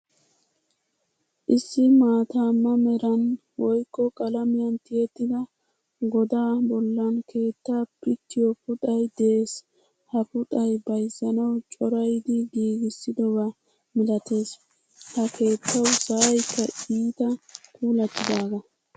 Issi maataama meran woykko qalamiyan tiyettida godaa bollan keettaa pittiyo puxay de'ees. Ha puxay bayzzanawu corayidi giigisidoba milattees. Ha keettawu sa'aykka iitta puulattidaga.